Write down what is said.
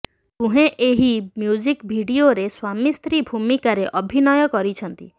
ଦୁହେଁ ଏହି ମ୍ୟୁଜିକ୍ ଭିଡିଓରେ ସ୍ୱାମୀସ୍ତ୍ରୀ ଭୂମିକାରେ ଅଭିନୟ କରିଛନ୍ତି